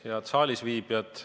Head saalisviibijad!